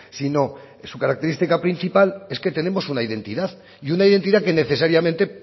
sino su característica principal es que tenemos una identidad y una identidad que necesariamente